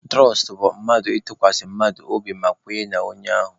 Tụrọst bụ mmadụ ịtụkwasị mmadụ obi ma kwenye n'onye ahụ.